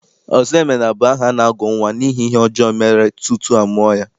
Ọzọemena bụ aha a na-agụ nnwa n'ihi ihe ọjọọ mere tutu a mụọ ya.